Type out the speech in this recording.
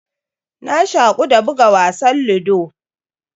Na shaku da buga wasan ludo.